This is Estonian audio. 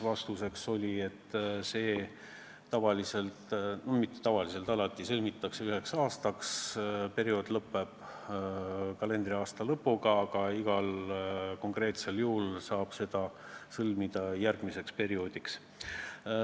Vastus oli, et see sõlmitakse alati üheks aastaks, periood lõpeb kalendriaasta lõpuga, aga igal konkreetsel juhul saab seda sõlmida järgmiseks perioodiks.